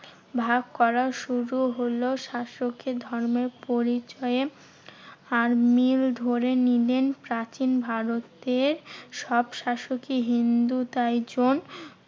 ভাগ করা শুরু হলো শাসককে ধর্মের পরিচয়ে। আর মিল ধরে নিলেন প্রাচীন ভারতের সব শাসকই হিন্দু তাই জন